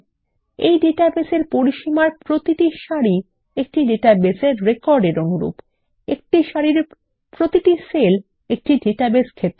এই ডাটাবেস পরিসীমার প্রতিটি সারি একটি ডাটাবেস রেকর্ড এর অনুরূপ এবং একটি সারির প্রতিটি সেল একটি ডাটাবেস ক্ষেত্র